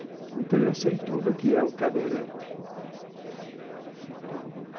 Então, eu sei tudo o que é um cadeirante.